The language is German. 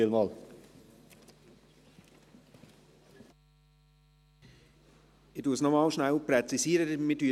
Michael Köpfli hat mich danach gefragt, deshalb präzisiere ich noch einmal: